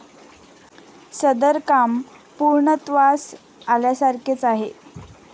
सदर काम पूर्णत्वास आल्यासारखेच आहे.